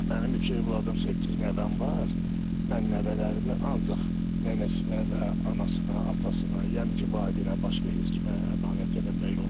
Mənim üç övladım, səkkiz nəvəm var, mən nəvələrimi ancaq nənəsinə və anasına, atasına, yəni ki, valideynə başqa heç kimə əmanət eləmək olmaz.